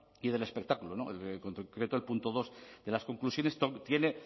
y del espectáculo en concreto el punto dos de las conclusiones tiene